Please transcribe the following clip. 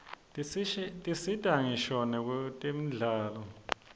tisita ngisho nakwtemidlalo